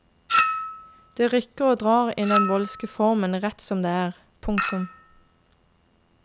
Det rykker og drar i den voldske formen rett som det er. punktum